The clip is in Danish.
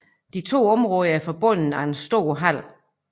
De to områder er forbundet af en stor hal